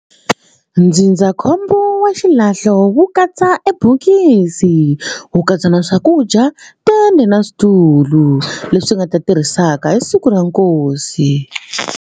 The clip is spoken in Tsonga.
Ndzindzakhombo wa xilahlo wu katsa e bokisi wu katsa na swakudya tende na switulu leswi nga ta tirhisaka hi siku ra nkosi.